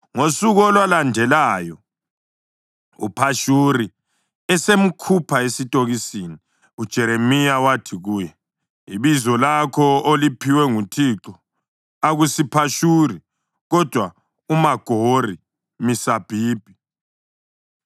Ngosuku olwalandelayo, uPhashuri esemkhupha esitokisini, uJeremiya wathi kuye, “Ibizo lakho oliphiwe nguThixo akusiPhashuri, kodwa uMagori-Misabibi,